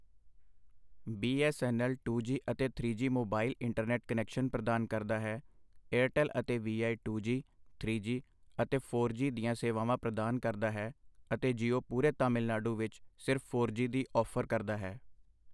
B S N L two G ਅਤੇ three G mobile internet connection ਪ੍ਰਦਾਨ ਕਰਦਾ ਹੈ I ਏਅਰਟੈੱਲ ਅਤੇ V I two G, three G ਅਤੇ four G ਦੀਆਂ ਸੇਵਾਵਾਂ ਪ੍ਰਦਾਨ ਕਰਦਾ ਹੈ ਅਤੇ ਜੀਓ ਪੂਰੇ ਤਾਮਿਲਨਾਡੂ ਵਿੱਚ ਸਿਰਫ਼ ਫੋਰ ਜੀ ਦੀ ਔਫ਼ਰ ਕਰਦਾ ਹੈ।